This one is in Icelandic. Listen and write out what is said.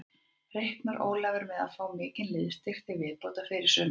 Reiknar Ólafur með að fá mikinn liðsstyrk til viðbótar fyrir sumarið?